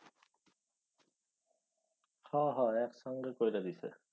হ হ একসঙ্গে কইরা দিসে।